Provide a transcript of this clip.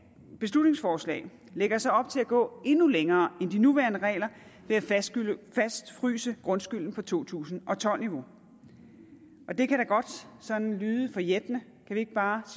beslutningsforslag lægger så op til at gå endnu længere end de nuværende regler ved at fastfryse grundskylden på to tusind og tolv niveau det kan da godt sådan lyde forjættende kan vi ikke bare